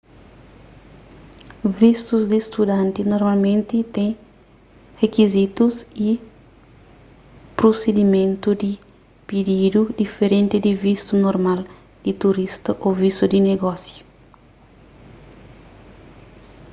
vistus di studanti normalmenti ten rikizitus y prusidimentu di pididu diferenti di vistu normal di turista ô vistu di negósiu